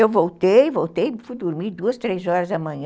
Eu voltei, voltei, fui dormir duas, três horas da manhã.